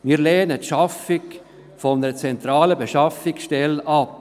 Wir lehnen die Schaffung einer zentralen Beschaffungsstelle ab.